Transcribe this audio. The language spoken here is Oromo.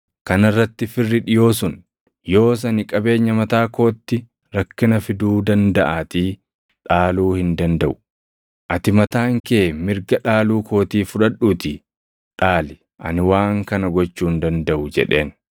Kana irratti firri dhiʼoo sun, “Yoos ani qabeenya mataa kootti rakkina fiduu dandaʼaatii dhaaluu hin dandaʼu. Ati mataan kee mirga dhaaluu kootii fudhadhuutii dhaali. Ani waan kana gochuu hin dandaʼu” jedheen.